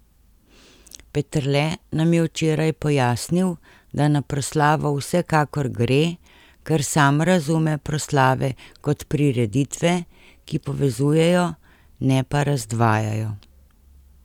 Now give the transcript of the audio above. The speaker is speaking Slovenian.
Peterle nam je včeraj pojasnil, da na proslavo vsekakor gre, ker sam razume proslave kot prireditve, ki povezujejo, ne pa razdvajajo.